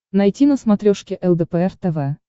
найти на смотрешке лдпр тв